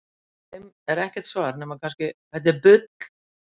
Við þeim er ekkert svar nema kannski: Þetta er bull!